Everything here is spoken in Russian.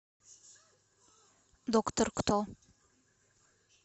доктор кто